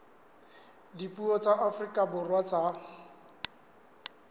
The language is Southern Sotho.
dipuo tsa afrika borwa tsa